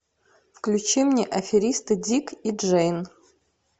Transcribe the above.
включи мне аферисты дик и джейн